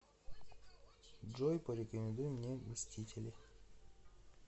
джой порекомендуй мне мстители